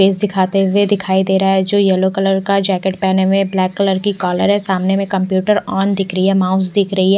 Face दिखाते हुए दिखाई दे रहा है जो येलो कलर का जैकेट पहने हुए है ब्लैक कलर की कॉलर है सामने में कंप्यूटर ऑन दिख रही है माउस दिख रही है।